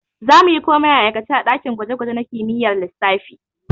We will do everything practically in physics lab.